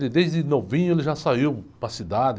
Ele, desde novinho, ele já saiu para a cidade.